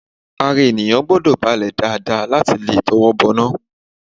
Ara ènìyàn gbọ́dọ̀ balẹ̀ dáadáa láti lè tọwọ́ bọná